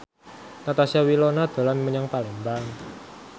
Natasha Wilona dolan menyang Palembang